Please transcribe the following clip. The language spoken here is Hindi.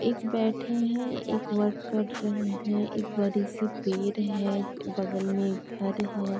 एक बैठे हैं एक वर्क कर रहे हैं। एक बड़ी-सी पेड़ है। बगल में एक घर है।